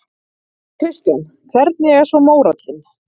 Kristján: Hvernig er svo mórallinn?